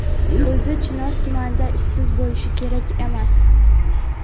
O‘zi Chinoz tumanida ishsiz bo‘lishi kerak emas.